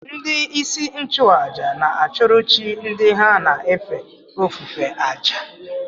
Ndị isi nchụàjà na-achụrụ chi ndị ha na-efe ofufe àjà